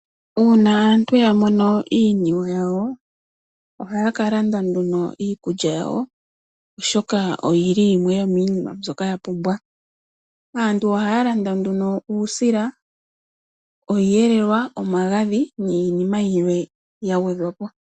Uuna aantu ya mono iiniwe yawo ohaya kalanda nduno iikulya yawo oshoka oyili yimwe yomiinima mbyoka yapumbwa. Aantu ohaya landa nduno uusila, iiyelelwa niinima yimwe mbyoka yagwedhwa po.